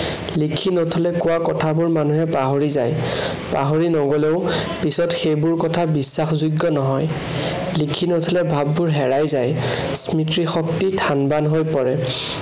লিখি নথলে কোৱা কথাবোৰ মানুহে পাহৰি যায়। পাহৰি নগলেও পিছত সেইবোৰ কথা বিশ্বাসযোগ্য় নহয়। লিখি নথলে ভাৱবোৰ হেৰাই যায়। স্মৃতিশক্তি থানবান হৈ পৰে।